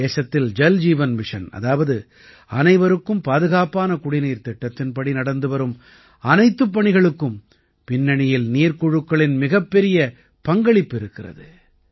இன்று தேசத்தில் ஜல்ஜீவன் மிஷன் அதாவது அனைவருக்கும் பாதுகாப்பான குடிநீர் திட்டத்தின்படி நடந்துவரும் அனைத்துப் பணிகளுக்கும் பின்னணியில் நீர்க்குழுக்களின் மிகப்பெரிய பங்களிப்பு இருக்கிறது